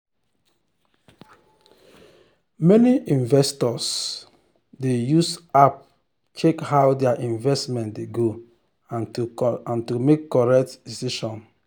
many investors um dey um use app check how their investment dey go and to make correct decision.